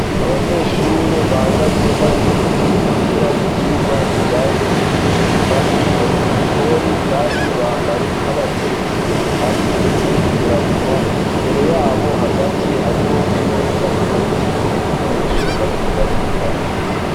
abanyeshure bahagaze bari mumugwi biga ivyigwa bijanye no guteka bari mugikoni kandi bambaye nk'abatetsi hamwe n'udukingiramunwa imbere yabo hagati hariho imeza iteretseko ibikoresho bariko barigira ko